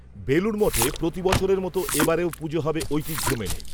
বেলুড় মঠে প্রতি বছরের মতো, এ বারেও পুজো হবে, ঐতিহ্য মেনে